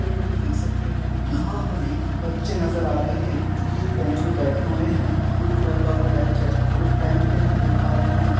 चित्र में हम देख सकते हैं यहाँ हमे बच्चे नज़र आ रहे हैं जो कि एक बेंच पर बैठे हुए हैं। ब्लू कलर का वो बेंच है और उस बेंच पे हम देख पा रहे हैं --